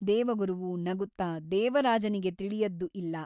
ದೇವಗುರುವು ನಗುತ್ತ ದೇವರಾಜನಿಗೆ ತಿಳಿಯದ್ದು ಇಲ್ಲ.